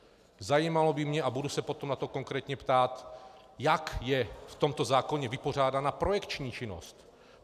Zajímalo by mě, a budu se potom na to konkrétně ptát, jak je v tomto zákoně vypořádána projekční činnost.